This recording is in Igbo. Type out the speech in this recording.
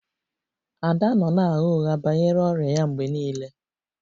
Ada nọ na-agha ụgha banyere ọrịa ya mgbe niile